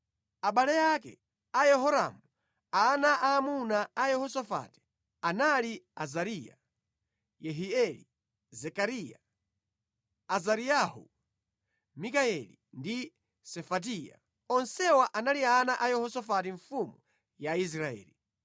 Abale ake a Yehoramu, ana aamuna a Yehosafati, anali Azariya, Yehieli, Zekariya, Azariyahu, Mikayeli ndi Sefatiya. Onsewa anali ana a Yehosafati mfumu ya Israeli.